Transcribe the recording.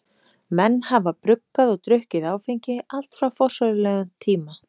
Menn hafa bruggað og drukkið áfengi allt frá forsögulegum tíma.